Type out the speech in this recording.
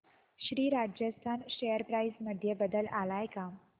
Shri Rajasthan share price मध्ये बदल आलाय का